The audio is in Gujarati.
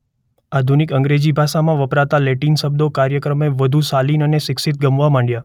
આધુનિક અંગ્રેજી ભાષામાં વપરાતા લેટિન શબ્દો કાળક્રમે વધુ શાલિન અને શિક્ષિત ગમવા માંડ્યા.